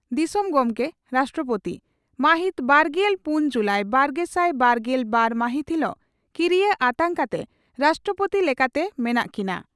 ᱫᱤᱥᱚᱢ ᱜᱚᱢᱠᱮ (ᱨᱟᱥᱴᱨᱚᱯᱳᱛᱤ) ᱺ ᱢᱟᱦᱤᱛ ᱵᱟᱨᱜᱮᱞ ᱯᱩᱱ ᱡᱩᱞᱟᱭ ᱵᱟᱨᱜᱮᱥᱟᱭ ᱵᱟᱨᱜᱮᱞ ᱵᱟᱨ ᱢᱟᱦᱤᱛ ᱦᱤᱞᱚᱜ ᱠᱤᱨᱤᱭᱟᱹ ᱟᱛᱟᱝ ᱠᱟᱛᱮ ᱨᱟᱥᱴᱨᱚᱯᱳᱛᱤ ᱞᱮᱠᱟᱛᱮ ᱢᱮᱱᱟᱜ ᱠᱤᱱᱟ ᱾